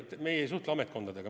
Meie ei suhtle ametkondadega.